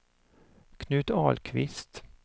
Knut Ahlqvist